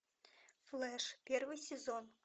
флэш первый сезон